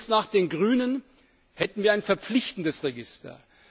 Ginge es nach den Grünen, hätten wir ein verpflichtendes Register.